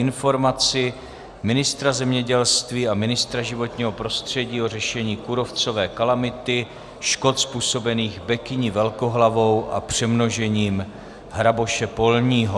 Informace ministra zemědělství a ministra životního prostředí o řešení kůrovcové kalamity, škod způsobených bekyní velkohlavou a přemnožením hraboše polního